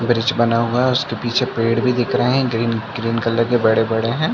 Bridge बना हुआ है और उसके पीछे पेड़ भी दिख रहे है ग्रीन ग्रीन कलर के बड़े-बड़े है।